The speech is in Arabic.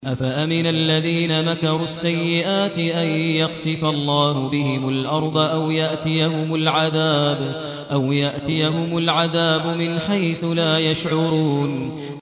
أَفَأَمِنَ الَّذِينَ مَكَرُوا السَّيِّئَاتِ أَن يَخْسِفَ اللَّهُ بِهِمُ الْأَرْضَ أَوْ يَأْتِيَهُمُ الْعَذَابُ مِنْ حَيْثُ لَا يَشْعُرُونَ